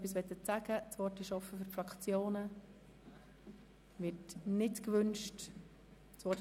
Das Wort ist offen für die Einzelsprecher.